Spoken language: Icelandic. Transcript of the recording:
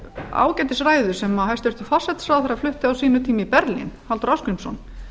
ágætis ræðu sem hæstvirtur forsætisráðherra flutti á sínum tíma í berlín halldór ásgrímsson